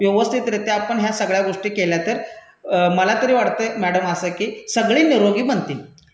व्यवस्थितरित्या आपण ह्या सगळ्या गोष्टी केल्यातर मलातरी वाटतंय मैडम असं की सगळी निरोगी बनतील.